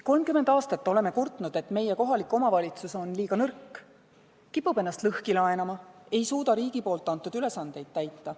30 aastat oleme kurtnud, et meie kohalik omavalitsus on liiga nõrk, kipub ennast lõhki laenama, ei suuda riigi antud ülesandeid täita.